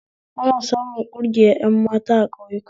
Ana samun ƙungiyar ƴan mata a ƙauyaku